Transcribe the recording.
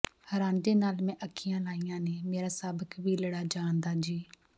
ਰਾਂਝੇ ਨਾਲ਼ ਮੈਂ ਅੱਖੀਆਂ ਲਾਈਆਂ ਨੇ ਮੇਰਾ ਸਭ ਕਬੀਲੜਾ ਜਾਣਦਾ ਜੀ